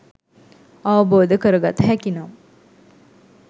අවබෝධ කරගත හැකි නම්